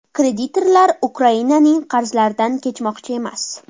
Kreditorlar Ukrainaning qarzlaridan kechmoqchi emas.